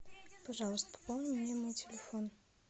пожалуйста пополни мне мой телефон